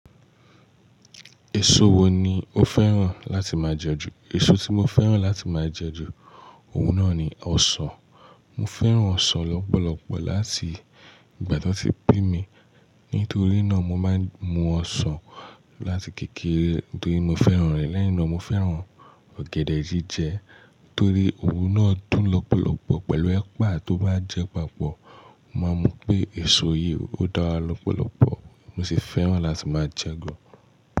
Èso wo ni o fẹ́ràn láti máa jẹ ju? Èso tí mo fẹ́ràn láti máa jẹ ju, òun náà ni ọsàn. Mo fẹ́ràn ọsàn lọ́pọ̀lọpọ̀ láti ìgbà tí wọ́n ti bí mi. Nítorí náà mo máa ń mú ọsàn láti kékeré nítorí mo fẹ́ràn rẹ̀. Lẹ́yìn náà mo fẹ́ràn ọ̀gẹ̀dẹ̀ jíjẹ. Nítorí òun náà dùn lọ́pọ̀lọpọ̀ pẹ̀lú ẹ̀pà tó bá jẹ papọ̀. Mo máa mọ̀ pé èso yìí ó dára lọ́pọ̀lọpọ̀, mo sì fẹ́ràn láti máa jẹ gan.